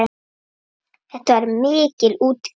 Þetta var mikil útgerð.